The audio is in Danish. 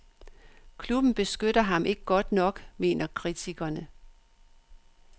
Klubben beskytter ham ikke godt nok, mener kritikerne.